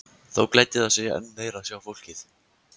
Þó gleddi það sig enn meir að sjá fólkið.